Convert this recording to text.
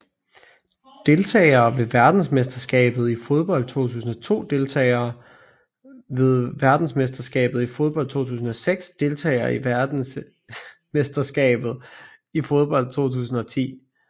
Deltagere ved verdensmesterskabet i fodbold 2002 Deltagere ved verdensmesterskabet i fodbold 2006 Deltagere ved verdensmesterskabet i fodbold 2010